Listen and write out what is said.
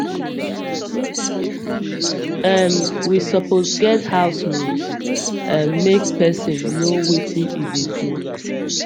um we suppose get house rules um make person know wetin he dey do